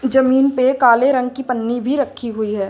जमीन पे काले रंग की पन्नी भी रखी हुई है।